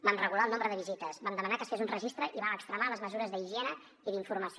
vam regular el nombre de visites vam demanar que es fes un registre i vam extremar les mesures d’higiene i d’informació